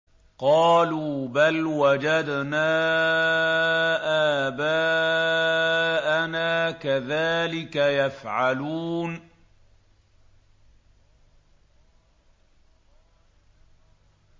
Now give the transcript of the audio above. قَالُوا بَلْ وَجَدْنَا آبَاءَنَا كَذَٰلِكَ يَفْعَلُونَ